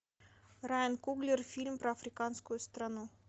райан куглер фильм про африканскую страну